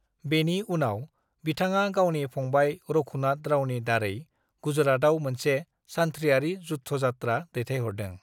"बेनि उनाव, बिथांङा गावनि फंबाय रघुनाथ रावनि दारै गुजरातआव मोनसे सानथ्रिआरि युद्धयात्रा दैथायहरदों।"